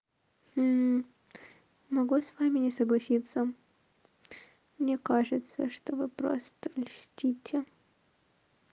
могу с вами не согласиться мне кажется что вы просто мстите